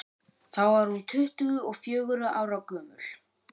þá var hún tuttugu og fjögurra ára gömul